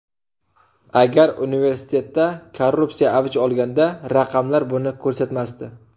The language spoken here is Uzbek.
Agar universitetda korrupsiya avj olganda raqamlar buni ko‘rsatmasdi.